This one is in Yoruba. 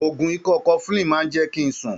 Oògùn ikọ́ cofflin máa ń jẹ́ kí ń sùn.